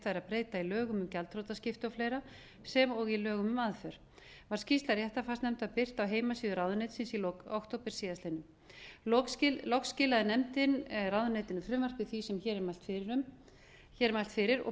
í lögum um gjaldþrotaskipti of sem og í lögum um aðför var skýrsla réttarfarsnefndar birt á heimasíðu ráðuneytisins í lok október síðastliðinn loks skilaði nefndin ráðuneytinu frumvarpi því sem hér er mælt fyrir og